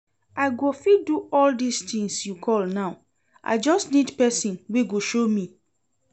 I go fit do all dis things you call now, I just need person wey go show me